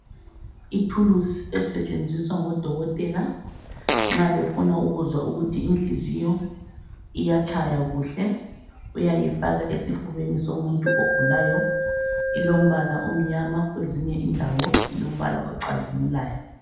Ithuluzi esetshenziswa ngodokotela nxa befuna ukuzwa ukuthi inhliziyo iyatshaya kuhle, uyayifaka esifubeni somuntu ogulayo, ilombala omnyama kwezinye indawo ilombala ocazimulayo.